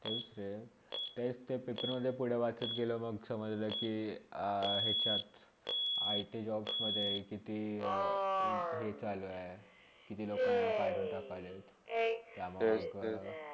तेच ते तेस paper मधे पुढे वाचत गेला मग समजले के यचात ITjobs कित्ती हे चालू आहे. किती लोकांना काडून टाकालेत. त्यातच